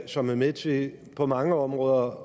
som er med til på mange områder